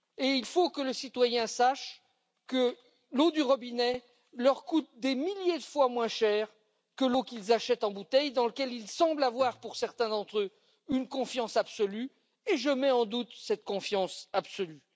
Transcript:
Il faut que le citoyen sache que l'eau du robinet leur coûte des milliers de fois moins cher que l'eau qu'ils achètent en bouteille dans laquelle ils semblent avoir, pour certains d'entre eux, une confiance absolue et je mets en doute cette confiance absolue.